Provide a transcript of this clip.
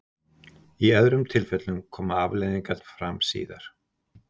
í öðrum tilfellum koma afleiðingarnar fram síðar